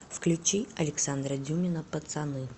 включи александра дюмина пацаны